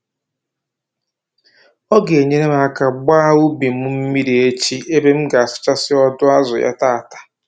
Ọ ga-enyere m aka gbaa ubi m mmiri echi ebe m ga-asacha ọdụ azụ ya tata